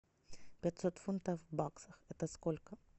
пятьсот фунтов в баксах это сколько